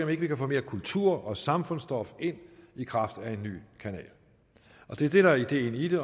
vi ikke kan få mere kultur og samfundsstof ind i kraft af en ny kanal det er det der er ideen i det